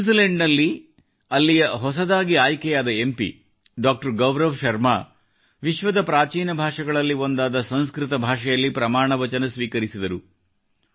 New Zealand ನಲ್ಲಿ ಅಲ್ಲಿಯ ಹೊಸದಾಗಿ ಆಯ್ಕೆಯಾದ ಎಂ ಪಿ ಡಾ|| ಗೌರವ್ ಶರ್ಮಾ ಅವರು ವಿಶ್ವದ ಪ್ರಾಚೀನ ಭಾಷೆಗಳಲ್ಲಿ ಒಂದಾದ ಸಂಸ್ಕೃತ ಭಾಷೆಯಲ್ಲಿ ಪ್ರಮಾಣವಚನ ಸ್ವೀಕರಿಸಿದರು